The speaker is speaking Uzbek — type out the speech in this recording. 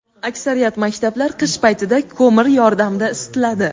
Aksariyat maktablar qish paytida ko‘mir yordamida isitiladi.